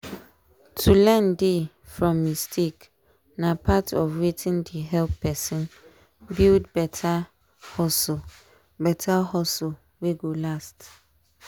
to learn dey from mistake na part of wetin dey help person build better hustle better hustle wey go last.